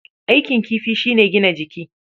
Aikin kifi shi ne gina jiki.